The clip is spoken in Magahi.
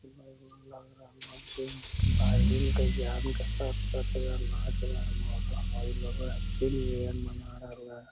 नाच रहला हई लगे हेय हैप्पी न्यू ईयर मना रहले हेय।